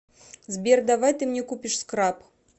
сбер давай ты мне купишь скраб